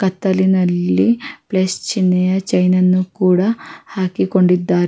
ಕತ್ತಲಿನಲ್ಲಿ plus ಚಿನ್ನೆಯ ಚೈನನ್ನು ಕೂಡ ಹಾಕಿಕೊಂಡಿದ್ದಾರೆ.